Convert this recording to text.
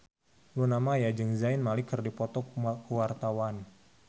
Luna Maya jeung Zayn Malik keur dipoto ku wartawan